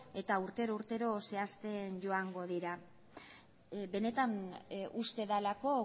eta urtero zehazten joango dira benetan uste delako